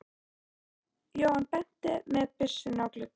Jóhann benti með byssunni á gluggann.